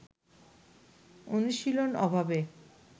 অনুশীলন অভাবে